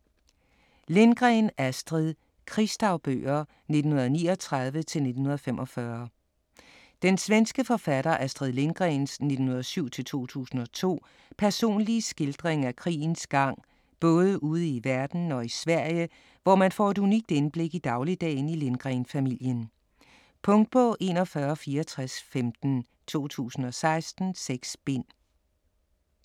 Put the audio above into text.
Lindgren, Astrid: Krigsdagbøger 1939-1945 Den svenske forfatter Astrid Lindgrens (1907-2002) personlige skildring af krigens gang både ude i verden og i Sverige, hvor man får et unikt indblik i dagligdagen i Lindgren-familien. Punktbog 416415 2016. 6 bind.